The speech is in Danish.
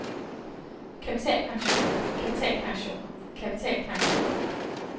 kapitalpensioner kapitalpensioner kapitalpensioner